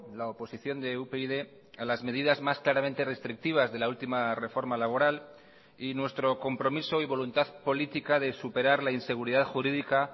la oposición de upyd a las medidas más claramente restrictivas de la última reforma laboral y nuestro compromiso y voluntad política de superar la inseguridad jurídica